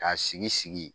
K'a sigi sigi